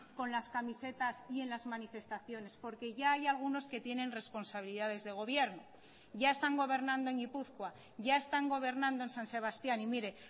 con las camisetas y en las manifestaciones porque ya hay algunos que tienen responsabilidades de gobierno ya están gobernando en gipuzkoa ya están gobernando en san sebastián y mire